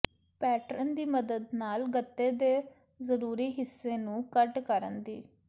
pattern ਦੀ ਮਦਦ ਨਾਲ ਗੱਤੇ ਦੇ ਜ਼ਰੂਰੀ ਹਿੱਸੇ ਨੂੰ ਕੱਟ ਕਰਨ ਦੀ